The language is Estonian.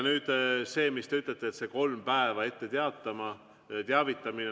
Nüüd see, mis te ütlete, et kolm päeva tuleb ette teavitada.